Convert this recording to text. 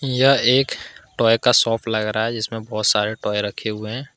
यह एक टॉय का शॉप लग रहा है जिसमें बहुत सारे टॉय रखे हुए हैं ।